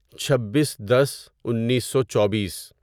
چھبیس دس انیسو چوبیس